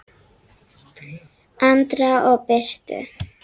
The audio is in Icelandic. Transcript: Andra og Birtu.